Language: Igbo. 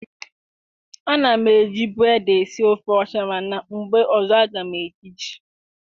A na m ejibu ede esi ofe ọcha mana mgbe ọzọ a ga m eji ji